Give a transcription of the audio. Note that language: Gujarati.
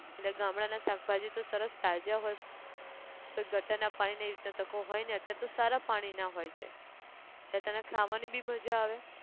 એટલે ગામડાં ના શાકભાજી તો સરસ તાજા હોય પર gutter ના પાણી ન એવી રીતે તો કો હોય નઈ, અત્યારે તો સારા પાણી ના હોય છે, જે તને ખાવાની બી મજા આવે